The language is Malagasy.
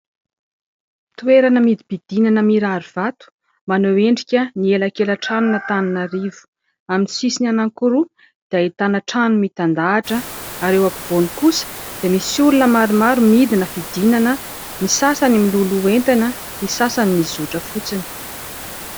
Toerana midi-pidinana mirary vato maneho endrika ny elakelan-tranon' Antananarivo, amin'ny sisiny anankiroa dia ahitana trano mitandahatra ary eo ampovoany kosa dia misy olona maromaro midina fidinana : ny sasany miloloha entana, ny sasany mizotra fotsiny.